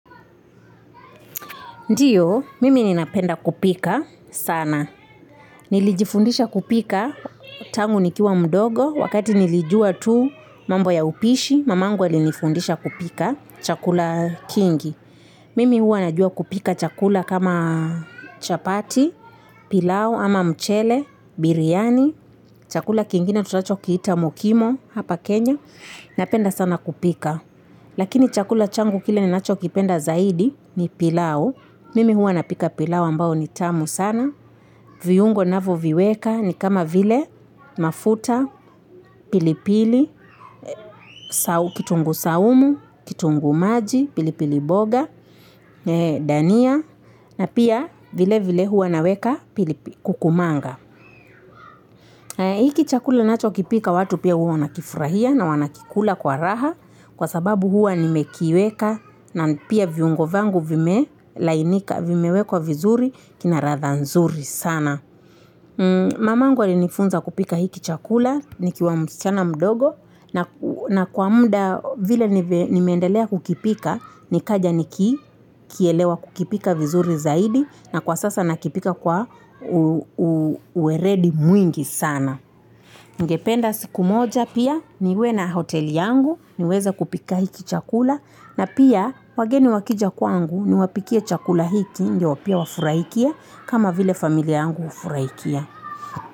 Ndiyo, mimi ninapenda kupika sana. Nilijifundisha kupika tangu nikiwa mdogo, wakati nilijua tu mambo ya upishi, mamangu alinifundisha kupika chakula kingi. Mimi hua najua kupika chakula kama chapati, pilau ama mchele, biryani, chakula kingine tunacho kiita mukimo hapa Kenya. Napenda sana kupika. Lakini chakula changu kile ninacho kipenda zaidi ni pilau. Mimi huwa napika pilau ambao nitamu sana. Vyungo navo viweka ni kama vile mafuta, pilipili, kitungu saumu, kitungu maji, pilipili boga, dania, na pia vile vile huwa naweka kukumanga. Hiki chakula nacho kipika watu pia huwa wanakifurahia na wanakikula kwa raha kwa sababu huwa nimekiweka na pia viungo vyangu vimelainika vimekwa vizuri kina ladha nzuri sana. Mamangu ali nifunza kupika hii kichakula nikiwa msichana mdogo na kwa muda vile nimeendelea kukipika nikaja niki kielewa kukipika vizuri zaidi na kwa sasa nakipika kwa uweredi mwingi sana. Ningependa siku moja pia niwe na hoteli yangu niweze kupika hiki chakula na pia wageni wakija kwangu niwapikia chakula hiki ndio pia wafurahie kama vile familia yangu wafuraikia.